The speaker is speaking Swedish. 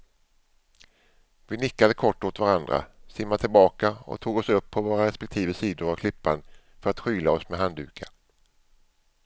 Vi nickade kort åt varandra, simmade tillbaka och tog oss upp på våra respektive sidor av klippan för att skyla oss med handdukar.